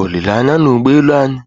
Olileanya na ụgbọ elu anyị